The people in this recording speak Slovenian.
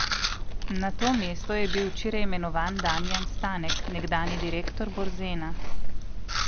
Na to mesto je bil včeraj imenovan Damjan Stanek, nekdanji direktor Borzena.